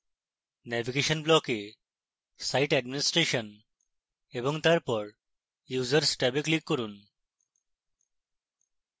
navigation block site administration এবং তারপর users ট্যাবে click করুন